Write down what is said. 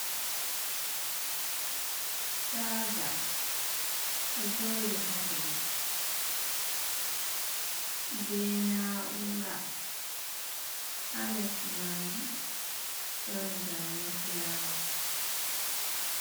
Chaaja, ɗo joodi haa leɗɗi be naaura ha les majum, ɗon zaane fulaawa.